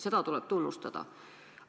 Seda tuleb tunnustada.